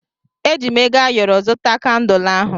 Eji m ego ayọrọ zụta kandul ahụ.